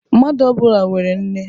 Mmadụ ọ bụla nwere nne